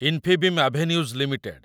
Infibeam Avenues limited